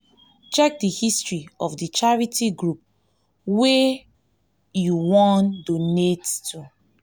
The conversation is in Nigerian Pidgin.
check di history of di charity group wey group wey you wan donate to